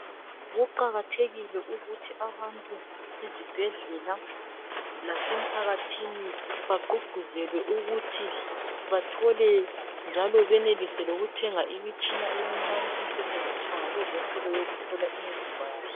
Kuqakathekile ukuthi abantu ezibhedlela lasemphakathini baqhuqhuzelwe ukuthi bathole njalo benelise lokuthenga imitshini emincane esentshenziswa abezempilo eyokuhlola imizimba yabo ..